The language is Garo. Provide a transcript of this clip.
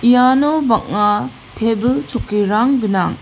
iano bang·a tebil chokkirang gnang.